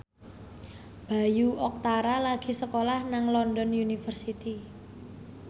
Bayu Octara lagi sekolah nang London University